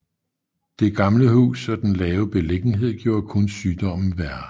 Det gamle hus og den lave beliggenhed gjorde kun sygdommen værre